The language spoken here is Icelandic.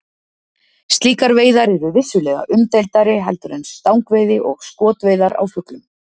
Slíkar veiðar eru vissulega umdeildari heldur en stangveiði og skotveiðar á fuglum.